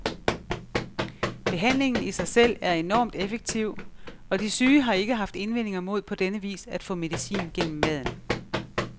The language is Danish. Behandlingen i sig selv er enormt effektiv, og de syge har ikke haft indvendinger mod på denne vis at få medicin gennem maden.